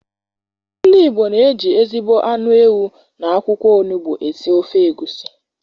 Ndi igbo na eji ezigbo anụ ewu na akwụkwọ onugbu esi ofe egwusi